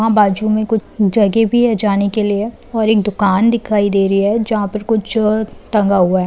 वहां बाजू में कुछ जगह भी है जाने के लिए और एक दुकान दिखाई दे रही है जहां पर कुछ टंगा हुआ है।